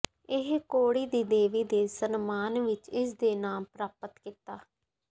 ਇਹ ਕੌੜੀ ਦੀ ਦੇਵੀ ਦੇ ਸਨਮਾਨ ਵਿਚ ਇਸ ਦੇ ਨਾਮ ਪ੍ਰਾਪਤ ਕੀਤਾ